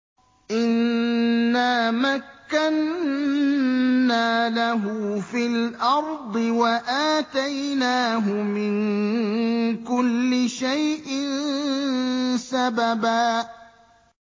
إِنَّا مَكَّنَّا لَهُ فِي الْأَرْضِ وَآتَيْنَاهُ مِن كُلِّ شَيْءٍ سَبَبًا